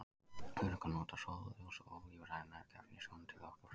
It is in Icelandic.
Þörungar nota sólarljós og ólífræn næringarefni í sjónum til orkuframleiðslu.